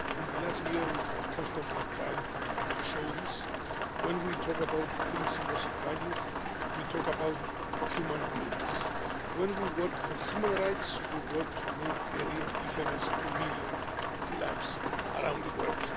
In the last year we have constantly tried to show this when we talk about principles and values we talk about human beings. When we work for human rights, we work to make a real difference to millions of lives around the world.